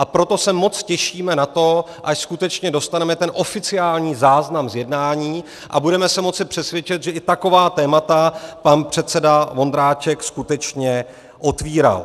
A proto se moc těšíme na to, až skutečně dostaneme ten oficiální záznam z jednání a budeme se moci přesvědčit, že i taková témata pan předseda Vondráček skutečně otvíral.